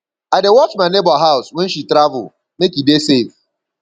i dey watch my nebor house wen she travel make e dey safe